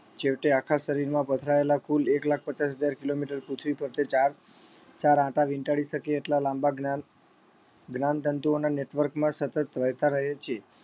છેવટે આખા શરીરમાં પથરાયેલા કુલ એક લાખ પચાસ હજાર kilometer પૃથ્વી ફરતે ચાર ચાર આંટા વીંટાળી શકે એટલા લાંબા જ્ઞાન જ્ઞાનતંતુઓના network માં સતત વહેતા રહે છે